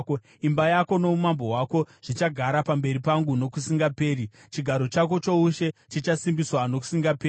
Imba yako noumambo hwako zvichagara pamberi pangu nokusingaperi; chigaro chako choushe chichasimbiswa nokusingaperi.’ ”